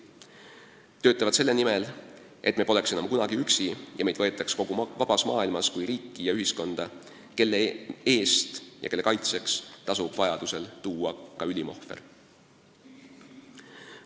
Nad töötavad selle nimel, et me poleks enam kunagi üksi ja et meid võetaks kogu vabas maailmas kui riiki ja ühiskonda, kelle eest ja kelle kaitseks tasub vajadusel tuua ka ülim ohver.